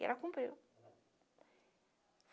E ela cumpriu.